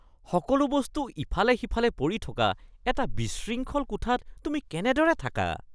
সকলো বস্তু ইফালে সিফালে পৰি থকা এটা বিশৃংখল কোঠাত তুমি কেনেদৰে থাকা? (মা)